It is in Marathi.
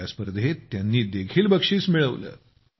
या स्पर्धेत त्यांनी देखील बक्षीस पटकावले आहे